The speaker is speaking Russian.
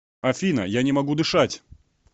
афина я не могу дышать